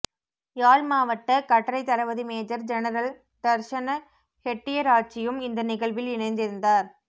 யாழ் மாவட்ட கட்டளை தளபதி மேஜர் ஜெனரல் தர்சன ஹெட்டியராச்சியும் இந்த நிகழ்வில் இணைந்திருந்தார்